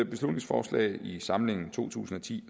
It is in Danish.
beslutningsforslag i samlingen to tusind og ti